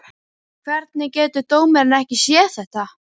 Hvernig getur dómarinn ekki séð þetta?